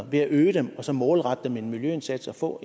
ved at øge dem og så målrette dem en miljøindsats og få